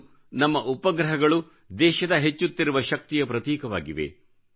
ಇಂದು ನಮ್ಮ ಉಪಗ್ರಹಗಳು ದೇಶದ ಹೆಚ್ಚುತ್ತಿರುವ ಶಕ್ತಿಯ ಪ್ರತೀಕವಾಗಿವೆ